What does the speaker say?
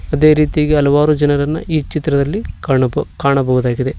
ಅದೇ ರೀತಿಯಾಗಿ ಹಲವಾರು ಜನರನ್ನ ಈ ಚಿತ್ರದಲ್ಲಿ ಕಾಣಬ ಕಾಣಬಹುದಾಗಿದೆ.